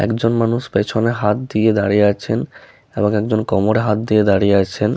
একজন মানুষ পেছনে হাত দিয়ে দাঁড়িয়ে আছেন এবং একজন কোমরে হাত দিয়ে দাঁড়িয়ে আছেন।